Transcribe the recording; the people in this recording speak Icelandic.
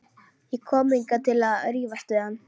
Ég kom ekki hingað til að rífast við hann.